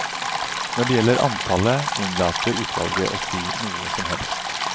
Når det gjelder antallet, unnlater utvalget å si noe som helst.